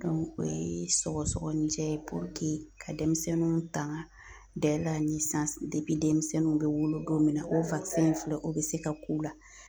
o ye sɔgɔsɔgɔnijɛ ye ka dɛmisɛnninw taŋa demisɛnninw be wolo don min na o in filɛ o be se ka k'u la.